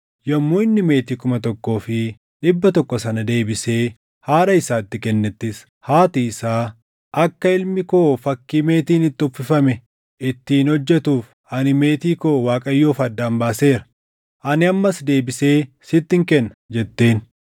Yommuu inni meetii kuma tokkoo fi dhibba tokko sana deebisee haadha isaatti kennettis, haati isaa, “Akka ilmi koo fakkii meetiin itti uffifame ittiin hojjetuuf ani meetii koo Waaqayyoof addaan baaseera. Ani ammas deebisee sittin kenna” jetteen.